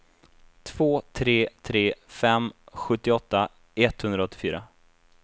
två tre tre fem sjuttioåtta etthundraåttiofyra